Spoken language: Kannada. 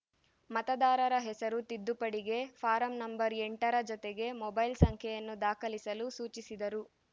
ಮತದಾರರ ಹೆಸರು ತಿದ್ದುಪಡಿಗೆ ಫಾರಂ ನಂಬರ್ ಎಂಟರ ಜೊತೆಗೆ ಮೊಬೈಲ್‌ ಸಂಖ್ಯೆಯನ್ನು ದಾಖಲಿಸಲು ಸೂಚಿಸಿದರು